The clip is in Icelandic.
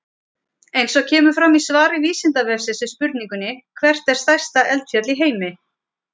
Eins og fram kemur í svari Vísindavefsins við spurningunni: Hvert er stærsta eldfjall í heimi?